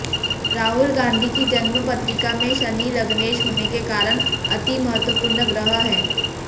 राहुल गांधी की जन्म पत्रिका में शनि लग्नेश होने के कारण अतिमहत्वपूर्ण ग्रह है